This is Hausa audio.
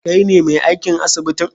kaine me aikin asibitin?